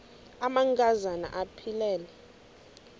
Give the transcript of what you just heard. amanka zana aphilele